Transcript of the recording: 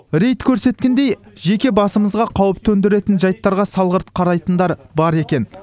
рейд көрсеткендей жеке басымызға қауіп төндіретін жайттарға салғырт қарайтындар бар екен